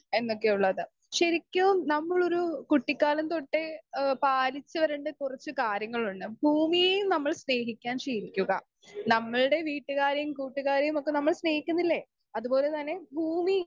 speaker 2 എന്നൊക്കെ ഉള്ളത് ശരിക്കും നമ്മളൊരു കുട്ടികാലം തൊട്ടേ എഹ് പാലിച്ച രണ്ട് കുറച്ച് കാര്യങ്ങളിണ്ട് ഭൂമിയെ നമ്മൾ സ്നേഹിക്കാൻ ശീലിക്കുക നമ്മൾടെ വീട്ടുകാരേം കൂട്ടുകാരേം ഒക്കെ നമ്മൾ സ്നേഹിക്കുന്നില്ലേ അതുപോലെ തന്നെ ഭൂമി